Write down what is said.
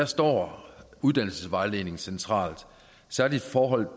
står uddannelsesvejledning centralt særlig i forhold